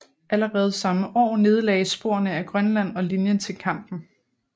Allerede samme år nedlagdes sporene ad Grønland og linjen til Kampen